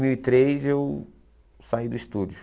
mil e três, eu saí do estúdio.